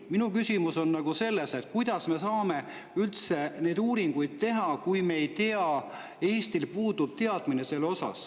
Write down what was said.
Minu küsimus on, kuidas me saame üldse neid uuringuid teha, kui Eestil puudub teadmine selle kohta.